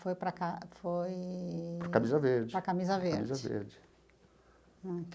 Foi para Ca foi... para o Camisa Verde. Para a Camisa Verde. Camisa verde.